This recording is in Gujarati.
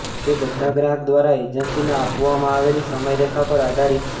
તે બધા ગ્રાહક દ્વારા એજન્સીને આપવામાં આવેલી સમયરેખા પર આધારિત છે